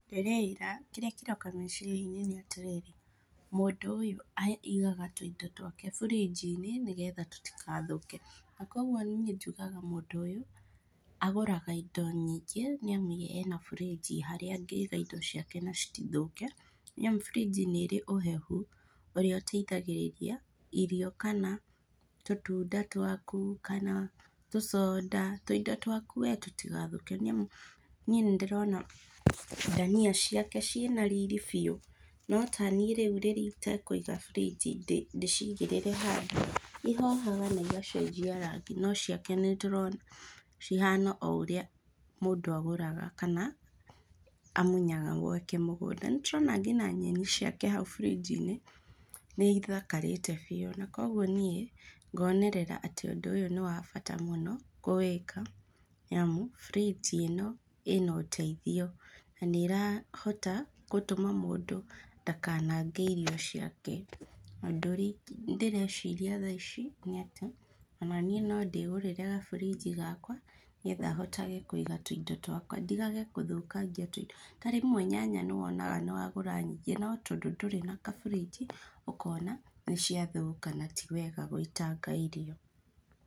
Ndĩreĩra kĩrĩa kĩroka meciria-inĩ nĩ atĩrĩrĩ, mũndũ ũyũ aigaga tũindo twake burinji-inĩ nĩgetha tũtigathũke na kũoguo niĩ njugaga mũndũ ũyũ agũraga indo nyingĩ nĩamu ena burinji harĩa angĩiga indo ciake na citithũke nĩamu burinji nĩ ĩrĩ ũhehu ũrĩa ũteithgĩrĩria irio kana tũtunda twaku kana tũconda, tũindo twaku wee tũtigathũke nĩamu niĩ nĩndĩrona ndania ciake ciĩna riri biũ, no taniĩ rĩu rĩrĩa itekũiga burinji ndĩcigĩrĩre handũ, ĩhohaga na igacenjia rangi no ciake nĩtũrona cihana o ũrĩa mũndũ agũraga kana amunyaga gwake mũgũnda. Nĩtũrona ngina nyeni ciake hau burinji-nĩ nĩithakarĩte biũ na kũoguo niĩ ngonerera atĩ ũndũ ũyũ nĩ wabata kũwĩka nĩamu burinji ĩno ĩna ũteithio na nĩrahota gũteithia mũndũ ndakanange irio ciake na ũndũ ũrĩa ndĩreciria thaa ici nĩ atĩ ona niĩ no ndĩgũrĩre kaburinji gakwa nĩ getha hotage kũiga tũindo twakwa ndigage gũthũkangia tũindo, ta rĩmwe nyanya nĩwonaga nĩwagũra nyingĩ no tondũ ndũrĩ na kaburinji ũkona atĩ nĩ ciathũka na ti wega gũitanga irio.